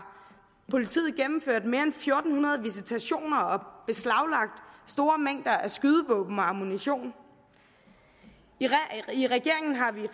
politiet gennemført mere end fire hundrede visitationer og beslaglagt store mængder af skydevåben og ammunition i regeringen har vi